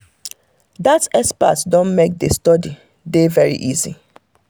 dat expert don make the study dey very easy.